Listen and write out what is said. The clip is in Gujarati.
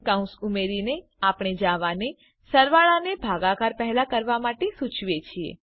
કૌંસ ઉમેરીને આપણે જાવાને સરવાળાને ભાગાકાર પહેલા કરવા માટે સુચવીએ છીએ